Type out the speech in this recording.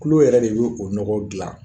kulo yɛrɛ de b'o nɔgɔ gilan